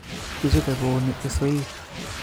Kichope kouni isoik